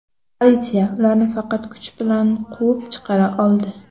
Politsiya ularni faqat kuch bilan quvib chiqara oldi.